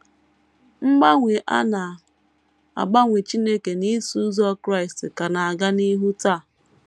Mgbanwe a na - agbanwe Chineke na Iso Ụzọ Kraịst ka na - aga n’ihu taa.